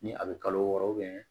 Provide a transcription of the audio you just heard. Ni a bɛ kalo wɔɔrɔ